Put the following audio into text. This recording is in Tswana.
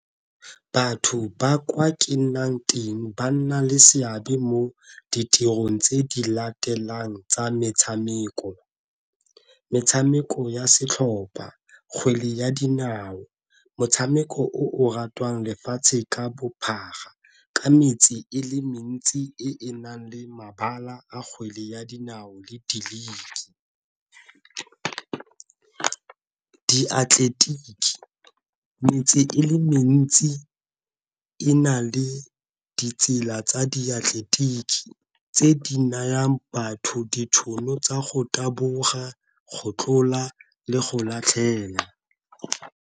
Batho ba kwa ke nnang ting ba nna le seabe mo ditirong tse di latelang tsa metshameko, metshameko ya setlhopha kgwele ya dinao motshameko o ratwang lefatshe ka bophara ka metse e le mentsi e e nang le mabala a kgwele ya dinao le . Diatleletiki metse e le mentsi e na le ditsela tsa diatleletiki tse di nayang batho ditšhono tsa go taboga kgotlola le go latlhela.